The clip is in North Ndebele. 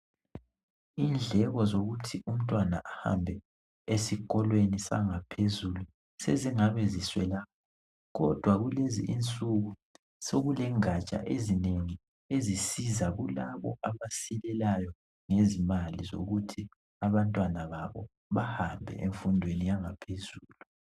Indleko zokuthi umntwana ahambe esikolweni sangaphezulu sezingabe ziswela kodwa kulezinsuku sokule ngatsha ezinengi ezisiza kulabo abasilelayo ngezimali zokuthi abantwana babo bahambe emfundweni yangaphezulu.